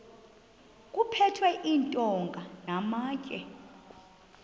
kuphethwe iintonga namatye